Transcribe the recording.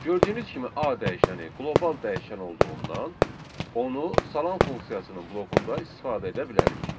Gördüyünüz kimi A dəyişəni qlobal dəyişən olduğundan onu salam funksiyasının blokunda istifadə edə bilərik.